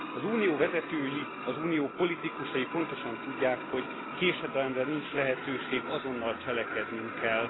Az Unió vezetői, az Unió politikusai pontosan tudják, hogy késedelemre nincs lehetőség, azonnal cselekednünk kell.